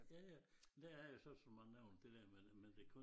Ja ja der er jo så så mange af det dér med det men det kun